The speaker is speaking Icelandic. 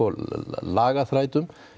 lagaþrætum